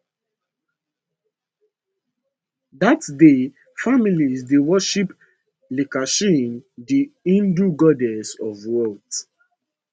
dat day families dey worship lakshmi di hindu goddess of wealth